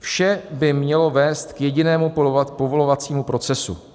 Vše by mělo vést k jedinému povolovacímu procesu.